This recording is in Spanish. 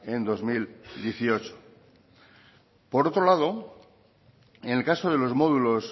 en el dos mil dieciocho por otro lado en el caso de los módulos